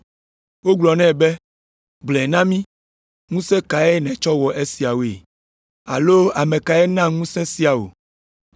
Wogblɔ nɛ be, “Gblɔe na mí, ŋusẽ kae nètsɔ wɔ esiawoe? Alo ame kae na ŋusẽ sia wò?”